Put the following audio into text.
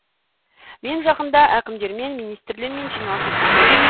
мен жақында әкімдермен министрлермен жиналыс өктіздім